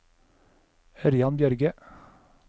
Ørjan Bjørge